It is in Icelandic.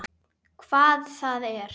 Hvað það er?